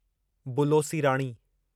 बुलो सी राणी